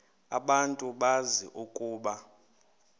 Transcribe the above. abantu bazi ukuba